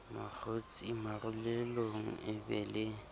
mokgosi marulelong e be le